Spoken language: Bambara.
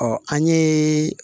an ye